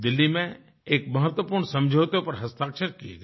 दिल्ली में एक महत्वपूर्ण समझौते पर हस्ताक्षर किये गए